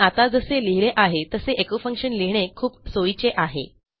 मी आत्ता जसे लिहिले आहे तसे एचो functionलिहिणे खूप सोयीचे आहे